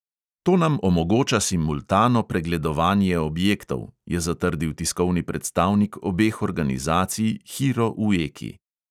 "To nam omogoča simultano pregledovanje objektov," je zatrdil tiskovni predstavnik obeh organizacij hiro ueki.